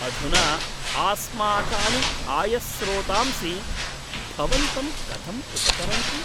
अधुना आस्माकानि आयस्रोतांसि भवन्तं कथं उपचरन्ति?